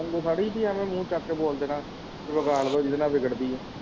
ਮੈਨੂੰ ਥੋੜੀ ਆਵੇ ਮੂੰਹ ਚੱਕ ਬੋਲ ਦੇਣਾ ਵਿਗਾੜ ਦੋ ਜਿੰਨੇ ਨਾ ਵਿਗੜਦੀ ਆ